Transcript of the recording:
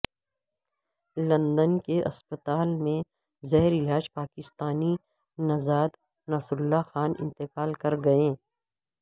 London کے اسپتال میں زیر علاج پاکستانی نژاد نصر اللہ خان انتقال کرگئے